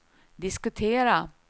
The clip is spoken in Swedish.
diskutera